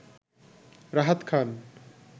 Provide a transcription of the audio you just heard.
Rahat Khan